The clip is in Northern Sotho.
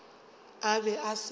a be a se sa